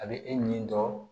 A bɛ e nin dɔn